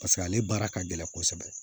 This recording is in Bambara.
Paseke ale baara ka gɛlɛn kosɛbɛ